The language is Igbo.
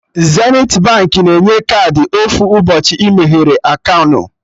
Zenithi Baankị na-enye kaadị ofu ụbọchị ị meghee aka unu